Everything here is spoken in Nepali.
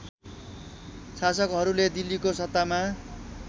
शासकहरूले दिल्लीको सत्तामा